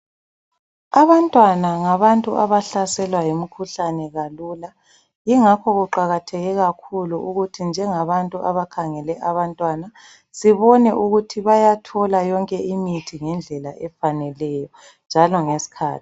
Abantwana ngabantu abahlaselwa yemikhuhlane kalula ingakho kuqakathe kakhulu ukuthi njengabantu abakhangele abantwana, sibone ukuthi bayathola yonke imithi ngendlela efaneleyo njalo ngesikhathi.